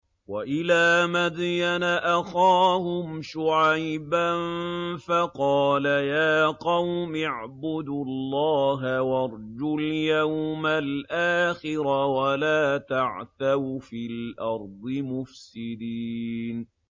وَإِلَىٰ مَدْيَنَ أَخَاهُمْ شُعَيْبًا فَقَالَ يَا قَوْمِ اعْبُدُوا اللَّهَ وَارْجُوا الْيَوْمَ الْآخِرَ وَلَا تَعْثَوْا فِي الْأَرْضِ مُفْسِدِينَ